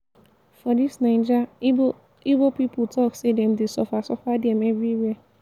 for dis naija ibo ibo pipu talk sey dem dey suffer suffer dem everywhere.